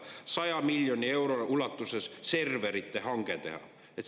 100 miljoni euro ulatuses serverite hanke tegemiseks.